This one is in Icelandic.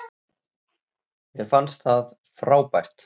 Mér fannst það frábært.